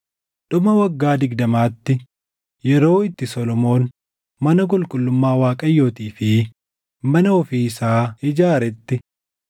Dhuma waggaa digdamaatti yeroo itti Solomoon mana qulqullummaa Waaqayyootii fi mana ofii isaa ijaaretti,